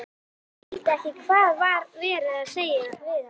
Skildi ekki hvað var verið að segja við hann.